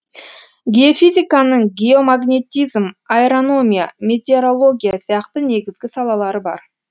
геофизиканың геомагнетизм аэрономия метеорология сияқты негізгі салалары бар